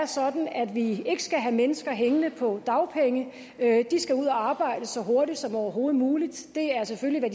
sådan at vi ikke skal have mennesker hængende på dagpenge de skal ud at arbejde så hurtigt som overhovedet muligt det er selvfølgelig